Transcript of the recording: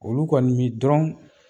Olu kɔni min dɔrɔn